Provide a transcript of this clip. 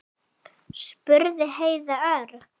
spurði Heiða örg.